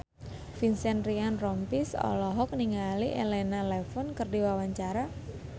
Vincent Ryan Rompies olohok ningali Elena Levon keur diwawancara